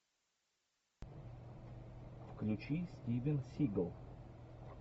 включи стивен сигал